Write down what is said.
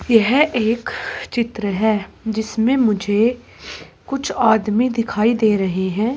यह एक चित्र है जिसमें मुझे कुछ आदमी दिखाई दे रहे हैं।